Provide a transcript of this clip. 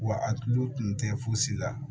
Wa a tulo tun tɛ fosi la